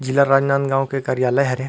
जिला राजनांदगांव के कार्यालय हरे--